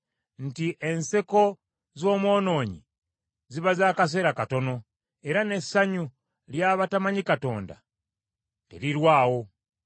nti Enseko z’omwonoonyi ziba z’akaseera katono, era n’essanyu ly’abatamanyi Katonda terirwawo.